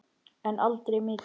En aldrei mikið.